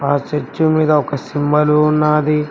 ఆ చర్చు మీద ఒక సింబలు ఉన్నాది.